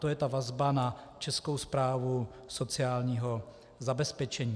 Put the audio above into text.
To je ta vazba na Českou správu sociálního zabezpečení.